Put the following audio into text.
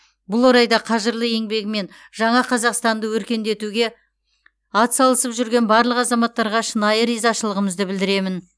бұл орайда қажырлы еңбегімен жаңа қазақстанды өркендетуге атсалысып жүрген барлық азаматтарға шынайы ризашылығымды білдіремін